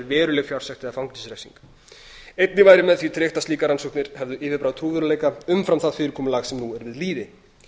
veruleg fjársekt eða fangelsisrefsing einnig væri með því tryggt að slíkar rannsóknir hefðu yfirbragð trúverðugleika umfram það fyrirkomulag sem nú er við lýði